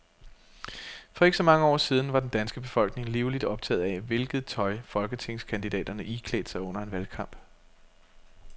For ikke så mange år siden var den danske befolkning livligt optaget af, hvilket tøj folketingskandidaterne iklædte sig under en valgkamp.